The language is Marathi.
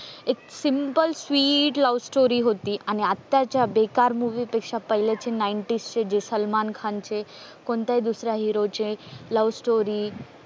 एक सिम्पल स्वीट लव्हस्टोरी होती आणि आत्त्ताच्या बेकार मूवी पेक्षा पहिले चे नाईंटीज चे जे सलमान खान चे कोणतीही दुसऱ्या हिरोचे लव्हस्टोरी